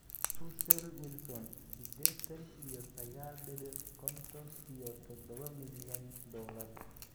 Russell Wilson sidetan iyo sagal dibic konton iyo todoba milyan dolar.